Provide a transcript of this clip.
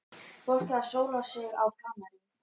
Fólkið að sóla sig á Kanarí.